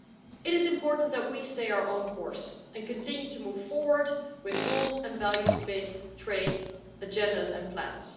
It is important that we stay on our own course and continue to move forward with rules and values based trade agendas and plans.